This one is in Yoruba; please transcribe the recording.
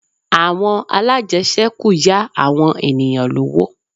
Àwọn alájẹṣẹ́kù yá àwọn ènìyàn lówó